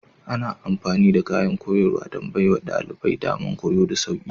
Ana amfani da kayan aikin koyarwa don baiwa ɗalibai damar koyo da sauƙi.